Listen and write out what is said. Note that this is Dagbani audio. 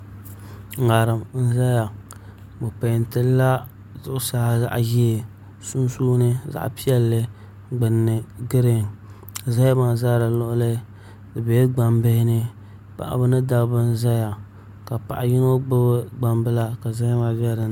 ŋarim n ʒɛya bi peentilila zuɣusaa zaɣ ʒiɛ sunsuuni zaɣ piɛlli gbunni giriin zahama ʒɛ di luɣuli di biɛla gbambihi ni paɣaba ni dabba n ʒɛya ka paɣa yino gbubi gbambila ka zahama bɛ dinni